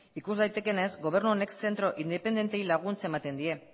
ikus daitekeenez gobernu honek zentro independenteei laguntza ematen die